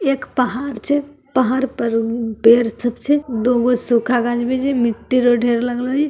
एक पहाड़ छे पहाड़ पे पेड़ सब छे दुगो सुखल गाछ वृक्ष छे मिट्टी के ढेर लागलो ---